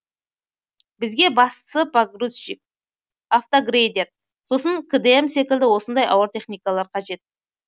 бізге бастысы погрузчик автогрейдер сосын кдм секілді осындай ауыр техникалар қажет